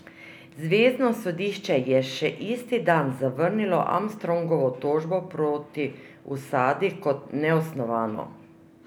Zvezno sodišče je še isti dan zavrnilo Armstrongovo tožbo proti Usadi kot neosnovano.